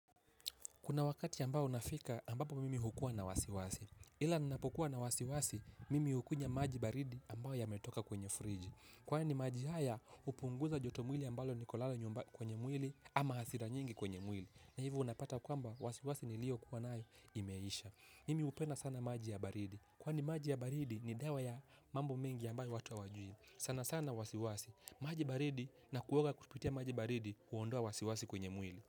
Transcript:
Kuna wakati ambao unafika ambapo mimi hukuwa na wasiwasi. Ila ninapokuwa na wasiwasi, mimi hukunywa maji baridi ambayo yametoka kwenye friji. Kwani maji haya hupunguza joto mwili ambalo niko nalo kwenye mwili ama hasira nyingi kwenye mwili. Na hivyo unapata kwamba wasiwasi niliyokuwa nayo imeisha. Mimi hupenda sana maji ya baridi. Kwani maji ya baridi ni dawa ya mambo mengi ambayo watu hawajui. Sana sana wasiwasi. Maji baridi na kuoga kupitia maji baridi huondoa wasiwasi kwenye mwili.